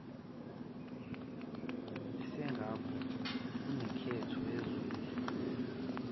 esingakho kunenketho yenzuzo